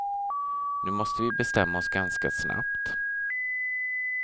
Nu måste vi bestämma oss ganska snabbt.